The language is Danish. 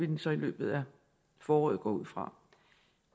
den så i løbet af foråret går jeg ud fra